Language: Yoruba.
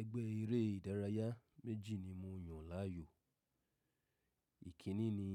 Ẹgbẹ́ eré ìdárayá méjì ni mo yàn láàyò. Ìkíni ni